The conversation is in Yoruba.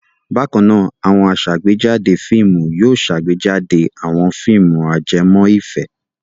Bákan náà, àwọn aṣàgbéjáde fíìmù yóò ṣàgbéjáde àwọn fíìmù ajẹmọ́ ìfẹ́.